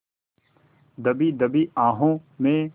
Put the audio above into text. दबी दबी आहों में